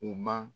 U ma